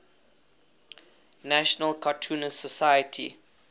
national cartoonists society